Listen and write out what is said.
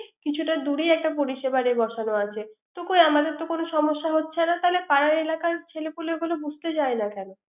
কিছুটা ্দুরেই একটা পরি সেবারের বসানো আছে। তো কই আমাদের তো কোন সমস্যা হচ্ছে না। তাইলে পাড়ার এলাকার ছেলেপুলেগুলো বুঝতে চাই না কেন